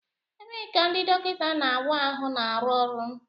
Ebee ka ndị dọkịta na-awa ahụ na-arụ ọrụ?